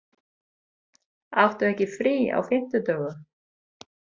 Áttu ekki frí á fimmtudögum?